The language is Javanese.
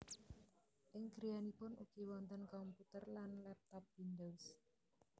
Ing griyanipun ugi wonten komputer lan laptop Windows